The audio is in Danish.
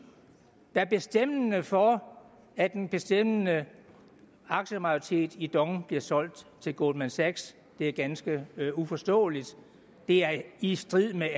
være bestemmende for at en bestemmende aktiemajoritet i dong bliver solgt til goldman sachs det er ganske uforståeligt det er i strid med